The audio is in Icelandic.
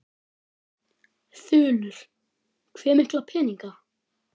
Þulur: Hve mikla peninga?